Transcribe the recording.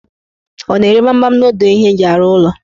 Ọ na-ere gbamgbam n'odo ihe eji arụ ụlọ?